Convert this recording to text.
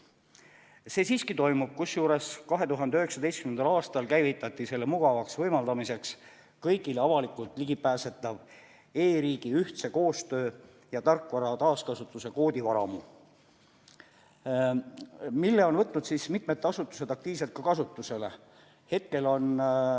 Seda on siiski tehtud, kusjuures 2019. aastal käivitati selle mugavaks võimaldamiseks kõigile avalikult ligipääsetav e-riigi ühtse koostöö ja tarkvara taaskasutuse koodivaramu, mille on võtnud mitmed asutused aktiivselt ka kasutusele.